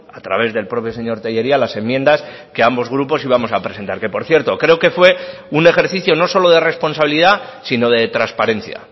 a través del propio señor tellería las enmiendas que ambos grupos íbamos a presentar que por cierto creo que fue un ejercicio no solo de responsabilidad sino de transparencia